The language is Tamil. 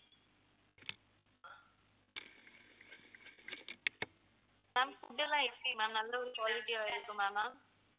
ma'am food எல்லாம் எப்படி ma'am நல்ல ஒரு quality ஆ இருக்குமா ma'am